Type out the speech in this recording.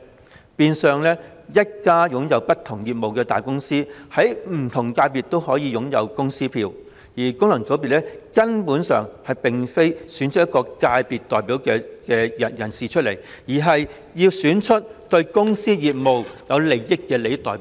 這變相是一間擁有不同業務的大公司，在不同界別也可以擁有公司票，於是功能界別選舉便根本不是要選出一位界別代表，而是要選出對公司業務有利的代表。